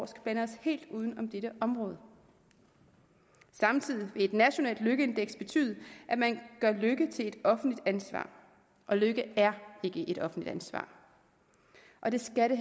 skal blande os helt uden om dette område samtidig vil et nationalt lykkeindeks betyde at man gør lykke til et offentligt ansvar og lykke er ikke et offentligt ansvar og det skal det